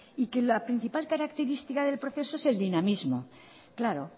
y que la principal característica del proceso es el dinamismo claro